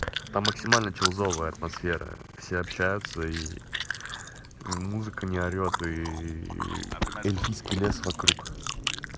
а максимально чузовая атмосфера все общаются и музыка не орёт и эльфийский лес вокруг